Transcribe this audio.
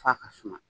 F'a ka suma